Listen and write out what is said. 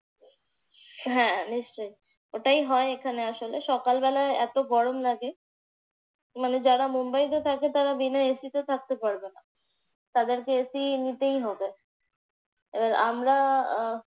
হ্যাঁ নিশ্চয়ই, ওটাই হয় এখানে আসলে। সকালবেলা এত গরম লাগে। মানে যারা মুম্বাইতে থাকে তারা বিনা AC তে থাকতে পারবে না। তাদেরকে AC নিতেই হবে। আহ আমরা